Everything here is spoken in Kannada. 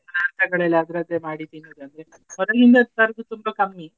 ಪದಾರ್ಥಗಳೆಲ್ಲ ಅದರದ್ದೇ ಮಾಡಿ ತಿನ್ನದಂದ್ರೆ ಹೊರಗಿಂದ ತರೋದು ತುಂಬಾ ಕಮ್ಮಿ.